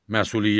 Məsuliyyət.